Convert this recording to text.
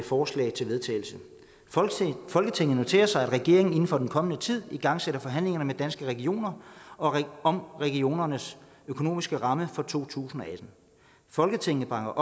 forslag til vedtagelse folketinget noterer sig at regeringen inden for den kommende tid igangsætter forhandlinger med danske regioner om regionernes økonomiske rammer for to tusind og atten folketinget bakker